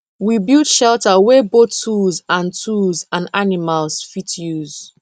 we build shelter wey both tools and tools and animals fit use